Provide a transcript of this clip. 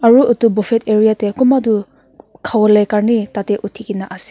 aru edu bofat area tae kunba toh khawolae karni tatae uthikena ase.